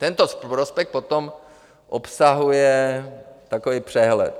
Tento prospekt potom obsahuje takový přehled.